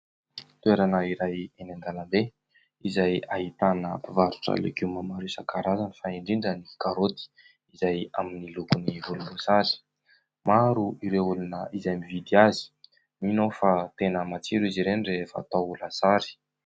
Toerana iray eny andalambe izay ahitana mpivarotra legioma maro isankarazany fa indrindra ny karaoty izay amin'ny lokony volombosary, maro ireo olona izay mividy azy; mino aho fa tena matsiro izy ireny rehefa atao lasary.